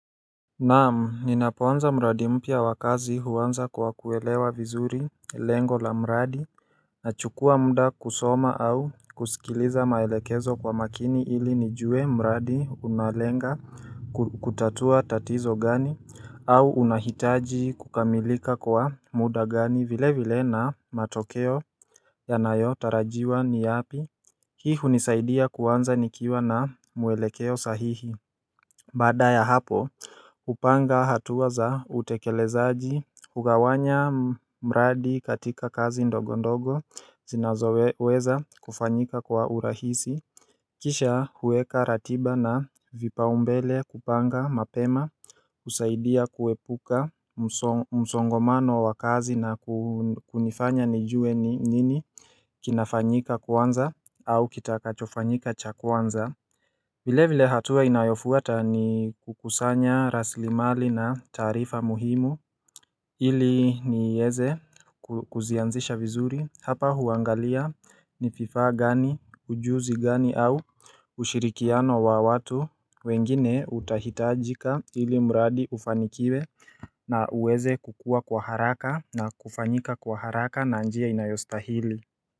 Naam, ninapoanza mradi mpya wa kazi huanza kwa kuelewa vizuri lengo la mradi nachukua mda kusoma au kuskiliza maelekezo kwa makini ili nijue mradi unalenga kutatua tatizo gani au unahitaji kukamilika kwa muda gani vile vile na matokeo yanayotarajiwa ni yapi hii hunisaidia kuanza nikiwa na mwelekeo sahihi Baada ya hapo, upanga hatua za utekelezaji, ugawanya mradi katika kazi ndogo ndogo, zinazoweza kufanyika kwa urahisi Kisha huweka ratiba na vipaumbele kupanga mapema usaidia kuepuka msongomano wa kazi na kunifanya nijue ni nini kinafanyika kwanza au kitakachofanyika cha kwanza vile vile hatua inayofuata ni kukusanya raslimali na taarifa muhimu ili nieze kuzianzisha vizuri hapa uangalia ni fifaa gani, ujuzi gani au ushirikiano wa watu wengine utahitajika ili mradi ufanikiwe na uweze kukua kwa haraka na kufanyika kwa haraka na njia inayostahili.